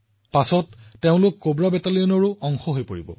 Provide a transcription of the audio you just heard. মানুহে তেওঁলোকৰ সংবেদনশীলতাৰ বাবে মহিলাৰ ওপৰত অধিক নিৰ্ভৰ কৰে